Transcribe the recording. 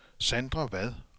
Sandra Vad